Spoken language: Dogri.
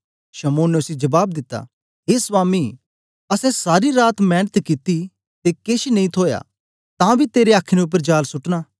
शमौन ने उसी जबाब दिता ए स्वामी आसे सारी रात मेंनत कित्ती ते केछ नेई थूया तां बी तेरे आख्ने उपर जाल सुटना